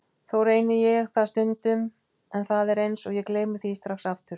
Þó reyni ég það stundum en það er eins og ég gleymi því strax aftur.